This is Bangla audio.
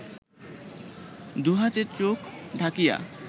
দুহাতে চোখ ঢাকিয়া